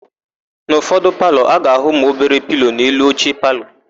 N'ụfọdụ palọ, a ga-áhụ̀ ụmụobere pilo n'elu oche palọ.